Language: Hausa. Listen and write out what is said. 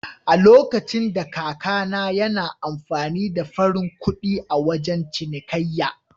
A lokacin da, kaka na yana amfani da farin kuɗi a wajan cinikayya.